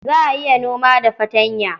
Za a iya noma da fartanya.